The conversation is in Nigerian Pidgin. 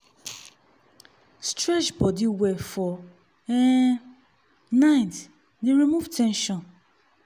stretch body well for um night dey remove ten sion.